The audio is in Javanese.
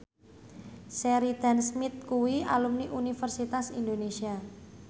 Sheridan Smith kuwi alumni Universitas Indonesia